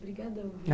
Obrigadão.